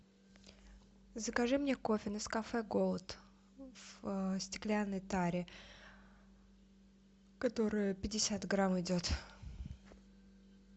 закажи мне кофе нескафе голд в стеклянной таре которое пятьдесят грамм идет